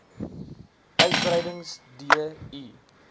uitbetalings d i